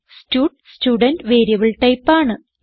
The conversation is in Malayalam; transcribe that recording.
സ്റ്റഡ് സ്റ്റുഡെന്റ് വേരിയബിൾ ടൈപ്പ് ആണ്